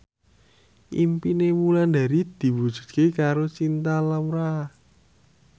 impine Wulandari diwujudke karo Cinta Laura